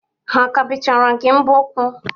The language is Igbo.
Ha ka bechara gi mbo ụkwụ?